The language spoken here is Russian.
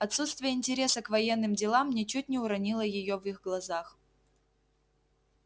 отсутствие интереса к военным делам ничуть не уронило её в их глазах